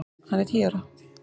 Hann er tíu ára!